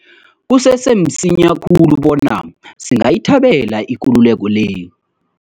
Kusese msinya khulu bona singayithabela ikululeko le.